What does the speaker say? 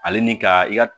Ale ni ka i ka